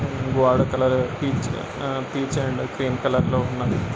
గోడ colour peach peach and cream colour లో ఉన్నదీ.